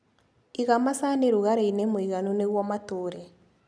Iga macani rũgarĩinĩ mũiganu nĩguo matũre.